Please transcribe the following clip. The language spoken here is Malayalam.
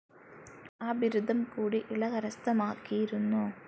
ആ ബിരുദം കൂടി ഇള കരസ്ഥമാക്കിയിരുന്നു.